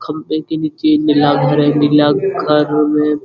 खम्बे के नीचे एक नीला घर में --